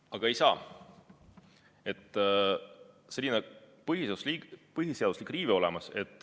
Aga ei saa, sest tekib põhiseaduslik riive.